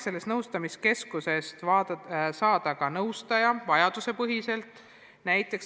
Sellest nõustamiskeskusest on võimalik saada ka nõustaja, kes annab nõu vajadusepõhiselt.